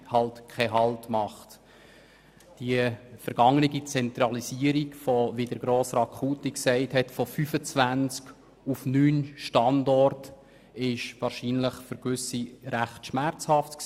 Wie Grossrat Knutti gesagt hat, war die vergangene Zentralisierung von 25 auf neun Standorte für gewisse Betroffene wahrscheinlich recht schmerzhaft.